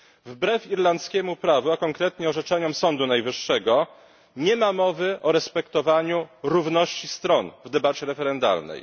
Wbrew irlandzkiemu prawu, a konkretnie orzeczeniom sądu najwyższego, nie ma mowy o respektowaniu równości stron w debacie referendalnej.